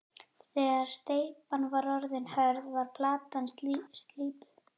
Þegar steypan var orðin hörð var platan slípuð.